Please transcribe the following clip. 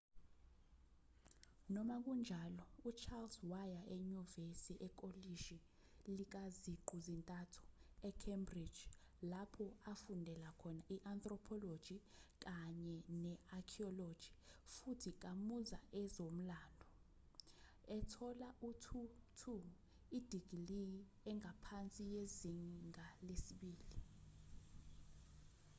noma kunjalo uchales waya enyuvesi ekolishi likaziqu zintathu e-cambridge lapho afundela khona i-anthropology kanye ne-archaeology futhi kamuza ezomlando ethola u-2:2 idigiliyi engaphansi yezinga lesibili